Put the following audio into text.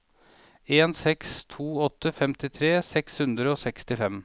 en seks to åtte femtitre seks hundre og sekstifem